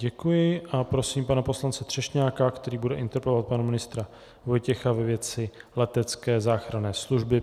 Děkuji a prosím pana poslance Třešňáka, který bude interpelovat pana ministra Vojtěcha ve věci letecké záchranné služby.